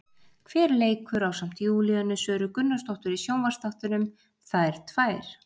Hver leikur ásamt Júlíönu Söru Gunnarsdóttir í sjónvarpsþáttunum, Þær tvær?